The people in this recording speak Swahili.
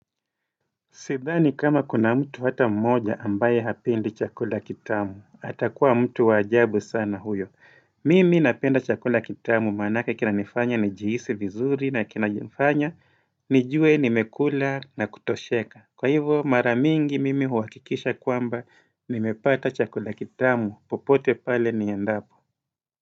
Sidhani kama kuna mtu hata mmoja ambaye hapendi chakula kitamu, hatakuwa mtu wajabu sana huyo. Mimi napenda chakula kitamu manaka kina nifanya njihisi vizuri na kina nifanya, nijue nimekula na kutosheka. Kwa hivyo maramingi mimi huwakikisha kwamba nimepata chakula kitamu, popote pale ni endapo.